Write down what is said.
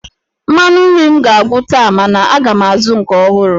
Mmanụ nri m ga-agwụ taa mana aga m azụ nke ọhụrụ.